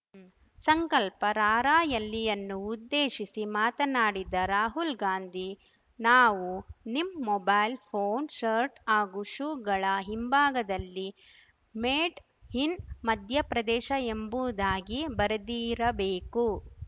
ಸಂಕಲ್ಪ ರಾರ‍ಯಲಿಯನ್ನು ಉದ್ದೇಶಿಸಿ ಮಾತನಾಡಿದ ರಾಹುಲ್‌ ಗಾಂಧಿ ನಾವು ನಿಮ್‌ ಮೊಬೈಲ್‌ ಫೋನ್‌ ಶರ್ಟ್‌ ಹಾಗೂ ಶೂಗಳ ಹಿಂಭಾಗದಲ್ಲಿ ಮೇಡ್‌ ಇನ್‌ ಮಧ್ಯಪ್ರದೇಶ ಎಂಬುದಾಗಿ ಬರೆದಿರಬೇಕು